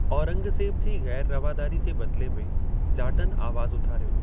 औरंगज़ेब जी ग़ैर रवादारी जे बदिले में जाटनि आवाज़ उथारियो।